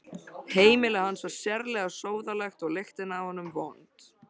Heimili hans var sérlega sóðalegt og lyktin af honum vond.